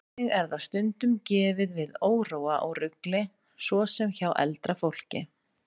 Einnig er það stundum gefið við óróa og rugli, svo sem hjá eldra fólki.